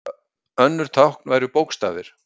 önnur tákn væru bókstafir